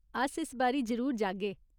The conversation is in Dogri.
अस इस बारी जरूर जाह्गे।